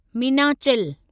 Meenachil